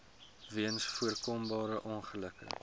weens voorkombare ongelukke